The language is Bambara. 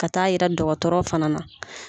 Ka taa yira dɔgɔtɔrɔ fana na.